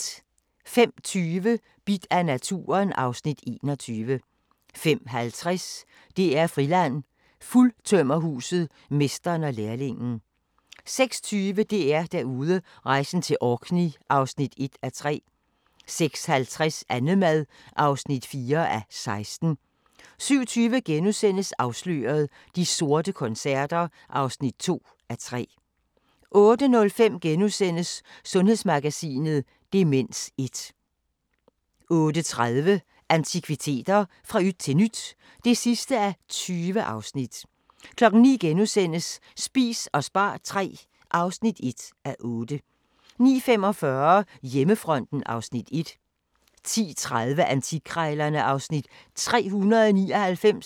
05:20: Bidt af naturen (Afs. 21) 05:50: DR-Friland: Fuldtømmerhuset – mesteren og lærlingen 06:20: DR-Derude: Rejsen til Orkney (1:3) 06:50: Annemad (4:16) 07:20: Afsløret – De sorte koncerter (2:3)* 08:05: Sundhedsmagasinet: Demens 1 * 08:30: Antikviteter – fra yt til nyt (20:20) 09:00: Spis og spar III (1:8)* 09:45: Hjemmefronten (Afs. 1) 10:30: Antikkrejlerne (Afs. 399)